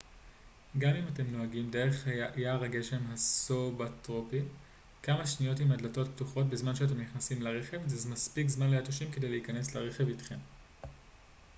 גם אם אתם נוהגים דרך יער הגשם הסובטרופי כמה שניות עם הדלתות פתוחות בזמן שאתם נכנסים לרכב זה מספיק זמן ליתושים כדי להיכנס לרכב איתכם